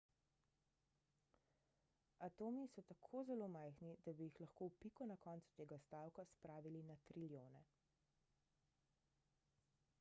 atomi so tako zelo majhni da bi jih lahko v piko na koncu tega stavka spravili na trilijone